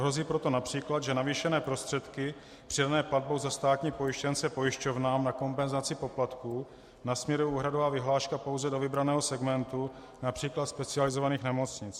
Hrozí proto například, že navýšené prostředky přidané platbou za státní pojištěnce pojišťovnám na kompenzaci poplatků nasměruje úhradová vyhláška pouze do vybraného segmentu, například specializovaných nemocnic.